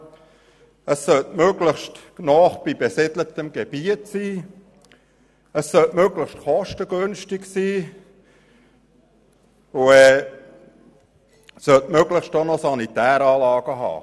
Dieser sollte möglichst nahe am besiedelten Gebiet liegen, möglichst kostengünstig sein und nach Möglichkeit auch über sanitäre Anlagen verfügen.